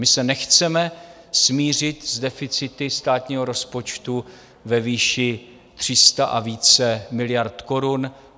My se nechceme smířit s deficity státního rozpočtu ve výši 300 a více miliard korun.